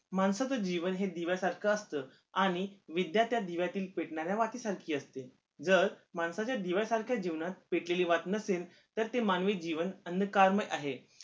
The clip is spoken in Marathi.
माणसाचं जीवन हे दिव्यासारखं असत आणि त्या दिव्यातील पेटणाऱ्या वाती सारखी असते जर माणसाच्या दिव्यासारख्या जीवनात पेटलेली वात नसेल तर ते मानवी जीवन अन्नकार्म आहे